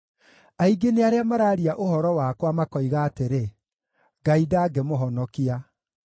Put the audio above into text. Aingĩ nĩ arĩa maraaria ũhoro wakwa, makoiga atĩrĩ, “Ngai ndangĩmũhonokia.”